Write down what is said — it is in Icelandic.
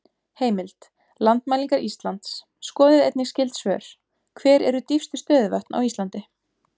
Heimild: Landmælingar Íslands Skoðið einnig skyld svör: Hver eru dýpstu stöðuvötn á Íslandi?